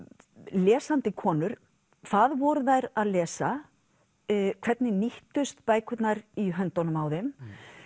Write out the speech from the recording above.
lesandi konur hvað voru þær að lesa hvernig nýttust bækurnar í höndunum á þeim